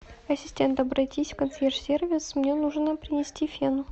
ассистент обратись в консьерж сервис мне нужно принести фен